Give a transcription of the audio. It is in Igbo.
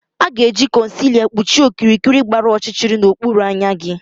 A ga-eji concealer kpuchie okirikiri gbara ọchịchịrị n'okpuru anya gị